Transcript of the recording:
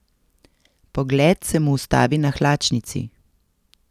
Pogled se mu ustavi na hlačnici.